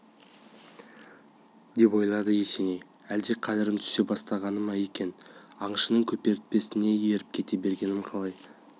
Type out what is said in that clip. деп ойлады есеней әлде қадірім түсе бастағаны ма екен аңшының көпіртпесіне еріп кете бергенім қалай